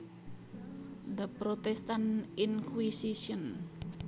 The Protestant Inquisition